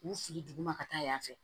K'u fili duguma ka taa yan fɛ